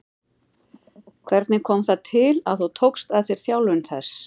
Hvernig kom það til að þú tókst að þér þjálfun þess?